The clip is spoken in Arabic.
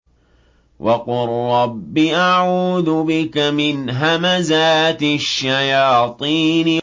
وَقُل رَّبِّ أَعُوذُ بِكَ مِنْ هَمَزَاتِ الشَّيَاطِينِ